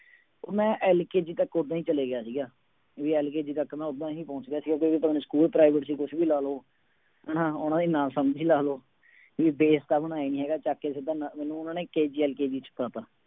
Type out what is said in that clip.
ਮੈਂ LKG ਤੱਕ ਓਦਾਂ ਹੀ ਚਲਿਆ ਗਿਆ ਸੀ, ਵੀ LKG ਤੱਕ ਮੈਂ ਓਦਾਂ ਹੀ ਪਹੁੰਚ ਗਿਆ ਸੀਗਾ ਕਿਉਂਕਿ ਸਕੂਲ private ਸੀ ਕੁਛ ਵੀ ਲਾ ਲਓ, ਹਨਾ ਉਹਨਾਂ ਦੀ ਨਾ ਸਮਝੀ ਲਾ ਲਓ ਵੀ base ਤਾਂ ਬਣਾਇਆ ਨੀ ਹੈਗਾ ਚੱਕ ਕੇ ਸਿੱਧਾ ਨ ਮੈਨੂੰ ਉਹਨਾਂ ਨੇ KGLKG ਚ ਪਾ ਦਿੱਤਾ।